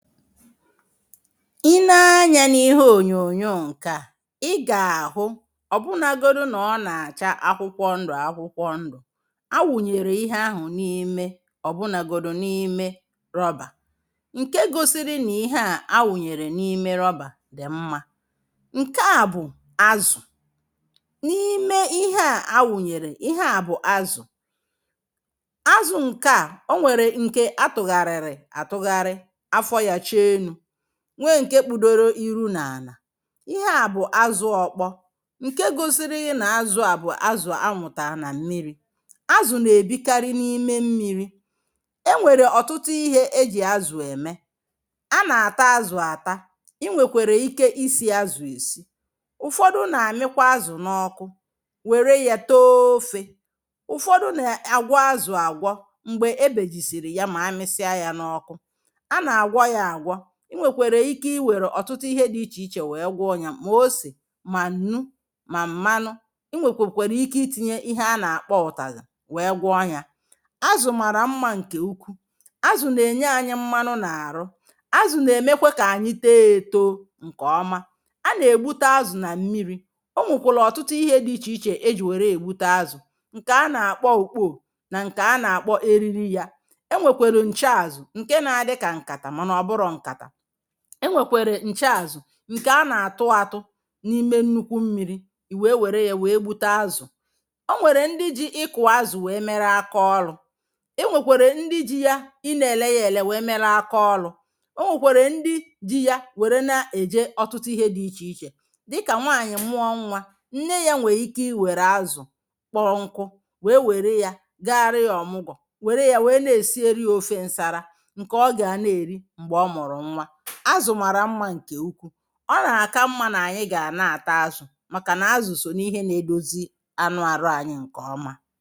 I nee anya n'ihe onyoonyo nkè a i ga ahụ, ọbụnagodu na ọna acha akwụkwọ ndụ akwụkwọ ndụ, awụnyere ihe ahụ n'ime, ọbụnagodu n'ime rubber nke gosiri n'ihe a awụnyere n'ime rubber dị mma. Nkea bụ azụ. N'ime ihea awụnyere ihe a bụ azụ Azụ nkea, ọ nwèrè nke atụgharịri atụgharị, afọ ya chee enu. Nwee nke kpudoro iru na ana. Ihe a bụ azụ ọkpọ, nke gosiri na azụ a bụ azụ anwụta na mmiri. Azụ na ebi kari n'ime mmiri. Enwere ọtụtụ ihe eji azụ eme. Ana ata azụ ata. I nwekwere ike isi azụ esi. Ụfọdụ na amịkwa azụ na ọkụ, were yá too ọfe. Ụfọdụ na agwọ azụ agwọ, mgbe ebejisiri ya ma amisia ya na ọkụ. Ana agwọ ya agwọ. I nwekwere ike iwere ọtụtụ ihe dị iche iche wee gwọọ nya, ma ọse, mà ńnú, ma mmanụ, i nwe kwe kwere ike itinye ihe ana akpọ ụtazị wéé gwọọ nya. Azụ mara mma nke ukwuu. Azụ n'enye anyị mmanụ na-arụ. Azụ na emekwa ka anyị too etoo nke ọma. Ana egbute azụ na mmiri, onwékwọlụ ọtụtụ ihe dị iche iche eji were egbute azụ nke ana akpọ ukpoo, na nke ana akpọ eriri ya. Enwekwara nche azụ nke na adị ka nkata mànà ọbụrọ nkata. Enwekwara nche azụ nke ana atụ atụ n'ime nnukwu mmiri i wéé wéré ya wéé gbute azụ. Ọnwere ndị ji ịkụ azụ wéé méré aka ọlụ. Enwekwere ndị ji ya, ina ele ya ele wéé mélé aka ọlụ. Onwekwara ndị ji ya wéré na eje ọtụtụ ihe dị iche iche dika nwanyi mụọ nwa, nne ya nwee ike iwere azụ kpọọ nkụ, wéé wéré ya gàrà ya ọmụgwọ, wéré ya wee na-esieri ya ọfe nsara nke ọga na eri mgbe ọ mụrụ nwa. Azụ mara mma nke ukwuu. Ọ na aka mma na anyị ga na ata azụ maka na azụ so n'ihe na edozi anụ arụ anyị nke ọma.